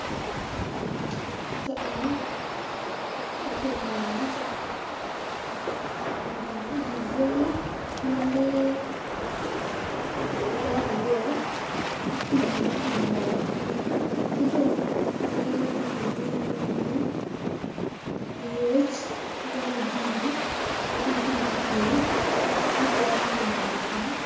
Ka eni atye ka neno dye bunga ma lee ki gwoko iye ki pii ma tye ka mol ki dong lee ma kilwongo nyingi lyec ki yaka jubi ma gitye i dye pii mukene tye ka mato pii.